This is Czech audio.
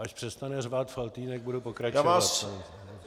Až přestane řvát Faltýnek, budu pokračovat.